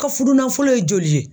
Ka fudunanfolo ye joli ye?